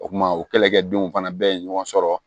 O kuma o kɛlɛkɛdenw fana bɛɛ ye ɲɔgɔn sɔrɔ